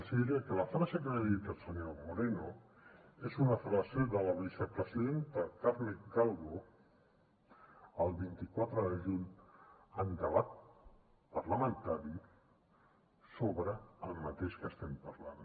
els diré que la frase que li he dit al senyor moreno és una frase de la vicepresidenta carmen calvo del vint quatre de juny en debat parlamentari sobre el mateix que estem parlant